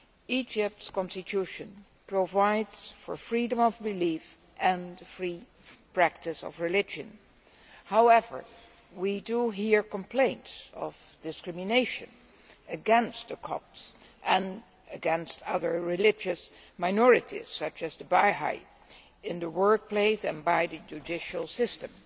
Egypt's Constitution provides for freedom of belief and free practice of religion. However, we do hear complaints of discrimination against the Copts and against other religious minorities such as the Bahá'í in the workplace and by the judicial system.